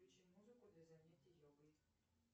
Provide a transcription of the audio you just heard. включи музыку для занятий йогой